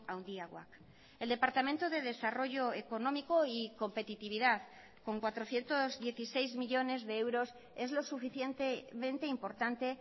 handiagoak el departamento de desarrollo económico y competitividad con cuatrocientos dieciséis millónes de euros es lo suficientemente importante